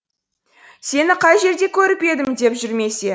сені қай жерде көріп едім деп жүрмесе